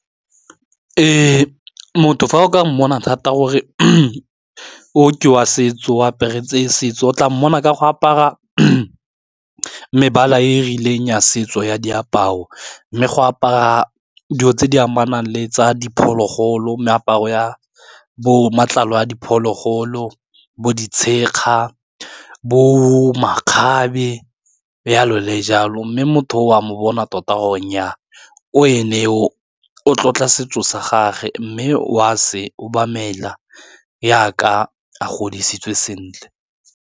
E motho fa o ka mmona thata gore o ke wa setso o aparetswe setso o tla mmona ka go apara mebala e rileng ya setso ya diaparo, mme go apara dilo tse di amanang le tsa diphologolo meaparo ya bo matlalo a diphologolo bo ditshega, bo makgabe, yalo le jalo, mme motho o a mmona tota gore o e ne yo o tlotla setso sa gagwe mme o a se obamela yaka a godisitswe sentle.